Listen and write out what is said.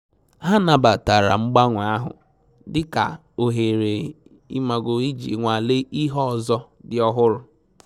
Ha nabatara mgbanwe ahụ dị ka ohere iji nwalee ihe ọzọ dị ọhụrụ